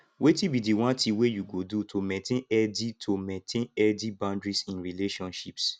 wetin be di one thing wey you go do to maintain healthy to maintain healthy boundaries in relationships